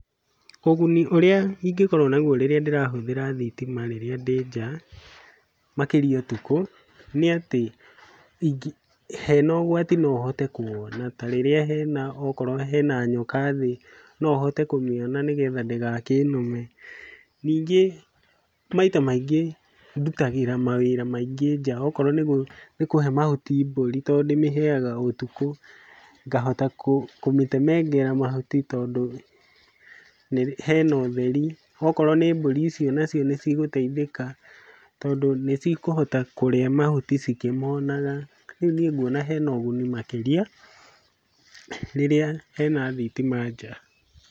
Ũguni urĩa ingĩkorwo naguo rĩrĩa ndĩrahũthĩra thitima rĩrĩa ndĩ nja, makĩria ũtukũ nĩ atĩ hena ũgwati no hote kũwona. Tarĩrĩa hena okorwo hena nyoka thĩ, no hote kũmĩona nĩgetha ndĩgakĩnũme. Ningĩ maita maingĩ ndutagĩra mawĩra maingĩ nja, okorwo nĩ kũhe mahuti mbũri tondũ ndĩmĩheaga ũtukũ, ngahota kũmĩtemengera mahuti tondũ nĩ hena ũtheri, okorwo nĩ mbũri icio nacio nĩcigũteithĩka, tondũ nĩcikũhota kũrĩa mahuti cikĩmonaga. Rĩu niĩ nguona hena ũguni makĩria rĩrĩa hena thitima nja.